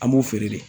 An b'o feere de